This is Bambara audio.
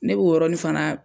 Ne b'o yɔrɔnin fana.